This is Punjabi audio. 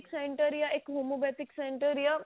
Center ਯਾ ਇੱਕ ਹੋਮੋਪੇਥਿਕ Center